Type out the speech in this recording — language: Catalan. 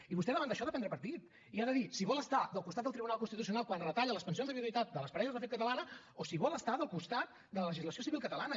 i vostè davant d’això ha de prendre partit i ha de dir si vol estar del costat del tribunal constitucional quan retalla les pensions de viduïtat de les parelles de fet catalanes o si vol estar del costat de la legislació civil catalana